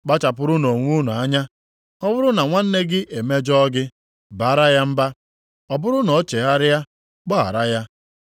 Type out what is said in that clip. Kpachapụrụnụ onwe unu anya! “Ọ bụrụ na nwanna gị e mejọọ gị, baara ya mba. Ọ bụrụ na o chegharịa, gbaghara ya.